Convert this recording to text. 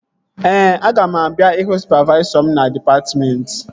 Ee, aga m abịa ịhụ sụpavaisọ m na dịpatmentị